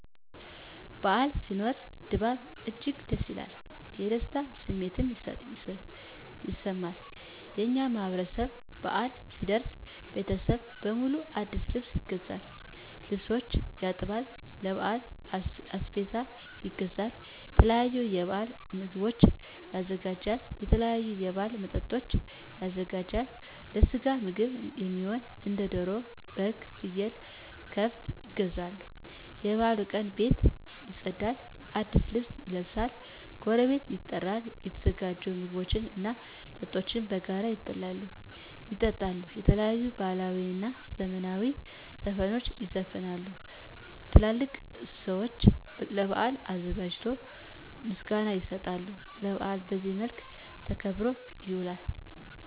በዓል ሲኖር ድባቡ እጅግ ደስ ይላል። የደስታ ስሜትም ይሰማል። የእኛ ማህበረሰብ በአል ሲደርስ ለቤተሰብ በሙሉ አዲስ ልብስ ይገዛል፤ ልብሶችን ያጥባል፤ ለበዓል አስቤዛ ይገዛል፤ የተለያዩ የበዓል ምግቦችን ያዘጋጃል፤ የተለያዩ የበዓል መጠጦችን ያዘጋጃል፤ ለስጋ ምግብ እሚሆኑ እንደ ደሮ፤ በግ፤ ፍየል፤ ከብት ይገዛሉ፤ የበዓሉ ቀን ቤት ይፀዳል፤ አዲስ ልብስ ይለበሳል፤ ጎረቤት ይጠራል፤ የተዘጋጁ ምግቦች እና መጠጦች በጋራ ይበላሉ፤ ይጠጣሉ፤ የተለያዩ ባህላዊ እና ዘመናዊ ዘፈኖች ይዘፈናሉ፤ ትላልቅ ሰዊች ለበዓሉ አዘጋጆች ምስጋና ይሰጣሉ፤ በአሉ በዚህ መልክ ተከብሮ ይውላል።